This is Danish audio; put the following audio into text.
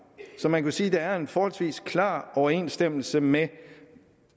så man kan sige der er en forholdsvis klar overensstemmelse med